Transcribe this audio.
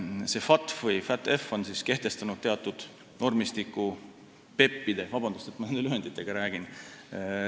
FATF on kehtestanud teatud normistiku PEP-ide – palun vabandust, et ma nende lühenditega räägin!